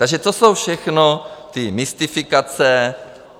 Takže to jsou všechno ty mystifikace.